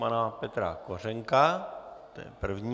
Pana Petra Kořenka, to je první.